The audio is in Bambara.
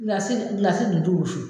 Gilasi gilasi dun tu wusu